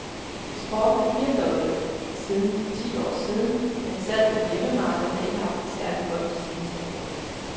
Eksporten er firdoblet siden for ti år siden, men salget på hjemmemarkedet har ikke haft det særlig godt de senere år.